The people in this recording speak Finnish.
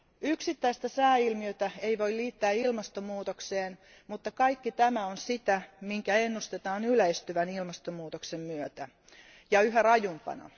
Yksittäistä sääilmiötä ei voi liittää ilmastonmuutokseen, mutta kaikki tämä on sitä, minkä ennustetaan yleistyvän ilmastonmuutoksen myötä, ja yhä rajumpana.